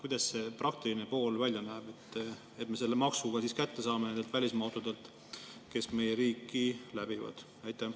Kuidas see praktiline pool välja näeb, et me selle maksu ka kätte saame neilt välismaa autodelt, kes meie riiki läbivad?